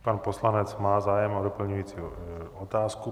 Pan poslanec má zájem o doplňující otázku.